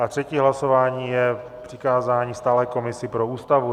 A třetí hlasování je přikázání stálé komisi pro Ústavu.